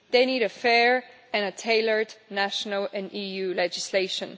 They need a fair and tailored national and EU legislation.